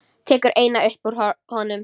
Tekur eina upp úr honum.